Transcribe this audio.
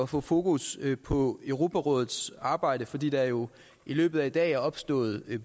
få fokus på europarådets arbejde fordi der jo i løbet af i dag er opstået